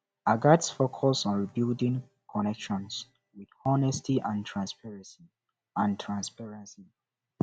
i gats focus on rebuilding connections with honesty and transparency and transparency